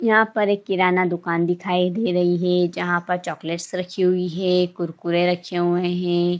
यहाँ पर एक किराना दुकान दिखाई दे रही है जहाँ पर चॉकलेट रखी हुई है कुरकुरे रखे हुए हैं।